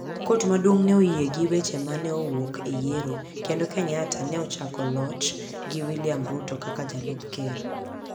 Kot maduong' ne oyie gi weche ma ne owuok e yiero, kendo Kenyatta ne ochako loch gi William Ruto kaka jalup ker.